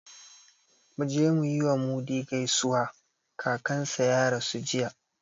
Mu je mu yi wa Mudi gaisuwa, kakansa ya rasu jiya